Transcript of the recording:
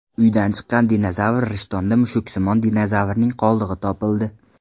Uydan chiqqan dinozavr Rishtonda mushuksimon dinozavrning qoldig‘i topildi .